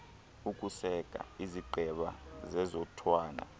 ukuseka izigqeba zezotywala